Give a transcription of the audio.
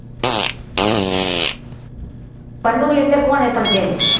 ચંદુરી એટલે કોણ એ પણ કહેજો.